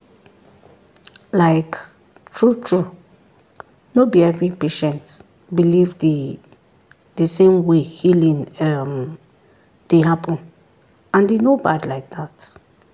like true-true no be every patient believe the the same way healing um dey happen and e no bad like that.